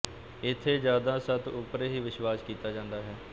ਇਥੇ ਯਾਦਾਂ ਸਤ ਉਪਰ ਹੀ ਵਿਸਵਾਸ ਕੀਤਾ ਜਾਂਦਾ ਹੈ